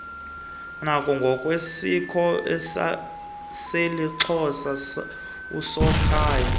ngokwesiko lesixhosa usokhaya